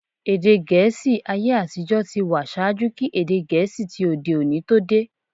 Èdè Gẹ̀ẹ́sì ayé-àtijọ́ ti wà ṣaájú kí èdè Gẹ̀ẹ́sì ti òde-òní tó dé.